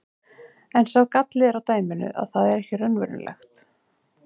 En sá galli er á dæminu að það er ekki raunverulegt.